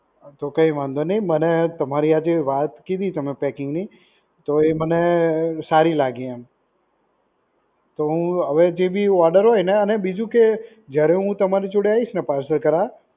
તો કઈ વાંધો નઇ મને તમારી આ જે વાત કીધી તમે packing ની એ તો એ મને સારી લાગી એમ. તો હું હવે જેબી order હોય ને અને બીજુ કે જ્યારે હું તમારી જોડે આવીશ ને parcel કરાવા